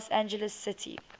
los angeles city